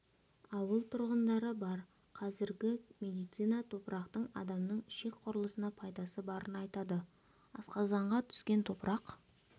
ауыл тұрғындары бар қазіргі медицина топырақтың адамның ішек құрылысына пайдасы барын айтады асқазанға түскен топырақ